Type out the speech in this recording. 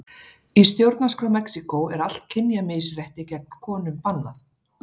Í stjórnarskrá Mexíkó er allt kynjamisrétti gegn konum bannað.